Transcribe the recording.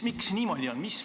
Miks niimoodi on?